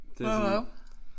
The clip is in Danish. Hvad da?